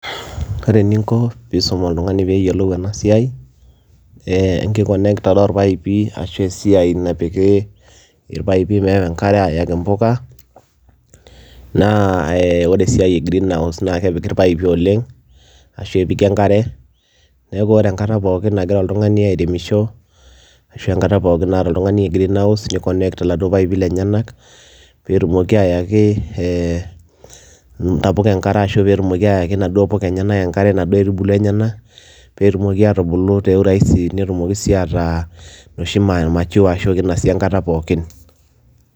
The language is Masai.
Ore eninko piisum oltung'ani peeyiolou ena siai ee enkiconnectara orpaipi ashu esiai napiki irpaipi meewa enkare ayaki mpuka naa ee ore esiai e greenhouse naake epiki irpaipi oleng' ashu epiki enkare. Neeku ore enkata pookin nagira oltung'ani airemisho ashu enkata pookin naata oltung'ani greenhouse niconnect laduo paipi lenyenak peetumoki ayaki ee ntapuka enkare ashu ayaki naduo puka enyenak enkare naduo aitubulu enyenak peetumoki aatubulu te urahisi netumoki sii ataa inoshi ma mature ashu kinasi enkata pookin.